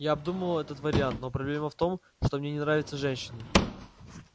я обдумывал этот вариант но проблема в том что мне не нравятся женщины